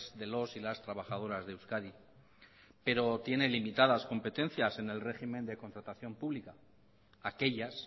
de los y las trabajadoras de euskadi pero tiene limitadas competencias en el régimen de contratación pública aquellas